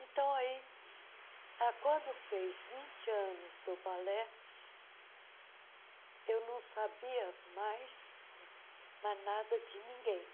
Então aí, ah quando fez vinte anos do balé, eu não sabia mais mais nada de ninguém.